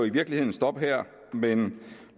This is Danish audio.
i virkeligheden stoppe her men